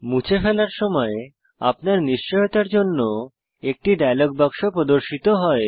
মুছে ফেলার সময় আপনার নিশ্চয়তার জন্য একটি ডায়লগ বাক্স প্রদর্শিত হয়